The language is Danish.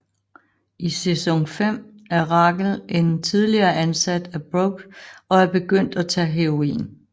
I sæson 5 er Rachel en tidligere ansat af Brooke og er begyndt at tage heroin